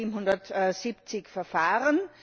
1770 Verfahren.